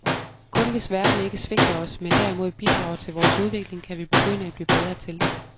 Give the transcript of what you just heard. Kun hvis verden ikke svigter os, men derimod bidrager til vores udvikling, kan vi begynde at blive bedre til det